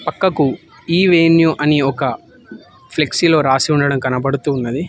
పక్కకు ఈ_వెన్యో అని ఒక ఫ్లెక్సీ లో రాసి ఉండడం కనపడుతుంది.